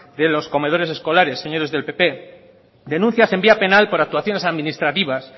de los comedores escolares señores del pp denuncias en vía penal por actuaciones administrativas